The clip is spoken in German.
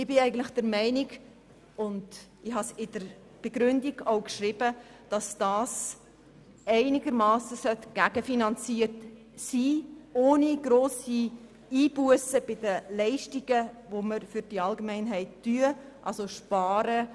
Ich bin der Meinung, diese Senkung sollte einigermassen gegenfinanziert werden, ohne dass grosse Einbussen bei den Leistungen für die Allgemeinheit die Folge sind.